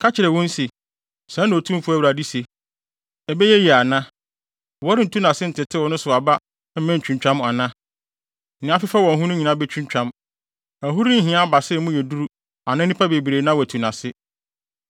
“Ka kyerɛ wɔn se, ‘Sɛɛ na Otumfo Awurade se: Ɛbɛyɛ yiye ana? Wɔrentu nʼase ntetew ne so aba mma entwintwam ana? Nea afefɛw wɔ ho nyinaa betwintwam. Ɛho renhia abasa a emu yɛ duru anaa nnipa bebree na wɔatu nʼase.